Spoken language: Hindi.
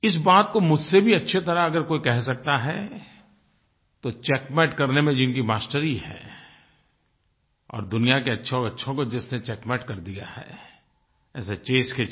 इस बात को मुझसे भी अच्छी तरह अगर कोई कह सकता है तो चेकमेट करने में जिनकी मास्टरी है और दुनिया के अच्छोंअच्छों को जिसने चेकमेट कर दिया है ऐसे चेस के champ